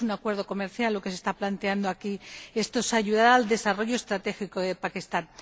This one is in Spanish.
No es un acuerdo comercial lo que se está planteando aquí, sino ayudar al desarrollo estratégico de Pakistán.